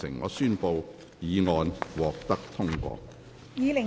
我宣布議案獲得通過。